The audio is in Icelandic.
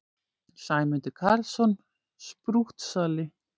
Sæmundur Karlsson, sprúttsali!